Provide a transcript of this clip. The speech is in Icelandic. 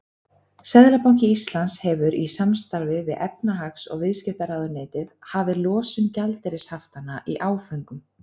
Seðlabanki Íslands hefur í samstarfi við efnahags- og viðskiptaráðuneytið hafið losun gjaldeyrishaftanna í áföngum.